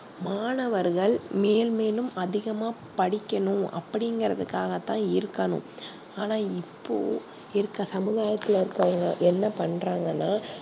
மாணவர்கள் மேல் மேலும் அதிகமா படிக்கணும் அப்டி இங்கறது காகதா இருக்கணும் ஆனா இப்போ இருக்குற சமுதாயத்துல இருக்கவங்க என்ன பன்றாங்கனா